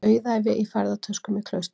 Auðæfi í ferðatöskum í klaustri